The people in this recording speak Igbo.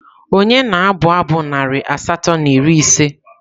Ònye na-abụ abụ narị asatọ na iri ise?